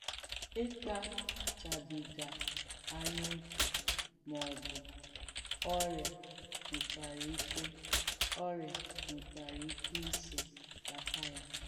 Ị̀kpàchàbìgà àn̄yà ókè́ mà ọ̀bù òrịà nwèkwàrà ìkè òrịà nwèkwàrà ìkè ìsò kpàtà ya.